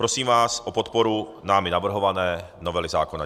Prosím vás o podporu námi navrhované novely zákona.